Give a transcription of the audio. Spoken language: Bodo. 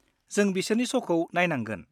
जों बिसोरनि श'खौ नायनांगोन।